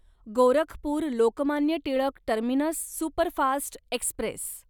Gorakhpur Lokmanya Tilak terminus superfast Express